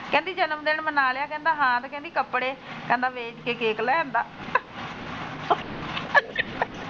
ਕਹਿੰਦੀ ਜਨਮ ਦਿਨ ਮਨਾ ਲਿਆ ਕਹਿਦਾ ਹਾ ਤੇ ਕਹਿੰਦੀ ਕੱਪੜੇ ਕਹਿੰਦਾ ਵੇਚ ਕੇ ਕੇਕ ਲੈ ਆਂਦਾ .